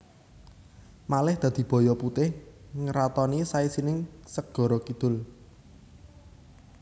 Malih dadi baya putih ngratoni saisining segara kidul